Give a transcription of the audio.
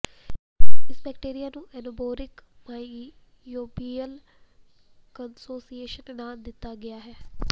ਇਸ ਬੈਕਟੀਰੀਆ ਨੂੰ anaerobic microbial consociation ਨਾਂ ਦਿੱਤਾ ਗਿਆ ਹੈ